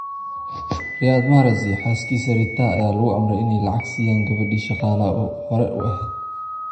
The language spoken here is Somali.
Riyad Mahrez iyo xaaskiisa Rita ayaa lagu amray in ay lacay siyaan gabadi shaqalaha hore uu eheed.